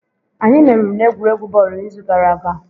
Anyị meriri n'egwuregwu bọọlụ n'izu gara aga